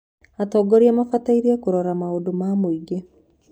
Atongoria mabatiĩ kũrora maũndũ ma mũingĩ.